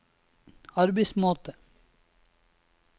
arbeidsmåte